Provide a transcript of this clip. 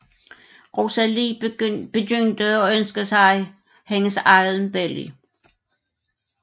Rosalie begyndte at ønske sig hendes eget barn